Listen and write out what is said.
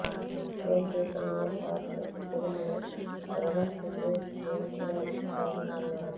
నేను చేసిన ఓ షార్ట్ ఫిల్మ్ను ప్రభాస్ చూసి స్క్రీన్ప్లే బాగుందన్నారట